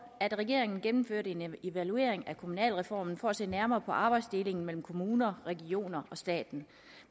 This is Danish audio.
at regeringen gennemførte en evaluering af kommunalreformen for at se nærmere på arbejdsdelingen mellem kommuner regioner og staten